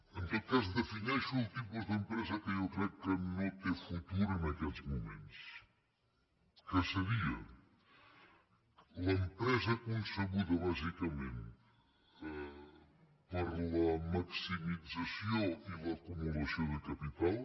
en tot cas defineixo el tipus d’empresa que jo crec que no té futur en aquests moments que seria l’empresa concebuda bàsicament per a la maximització i l’acumulació de capital